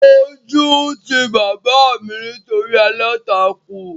Ojú ti bàbá mi nítorí aláǹtakùn